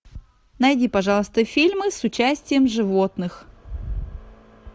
найди пожалуйста фильмы с участием животных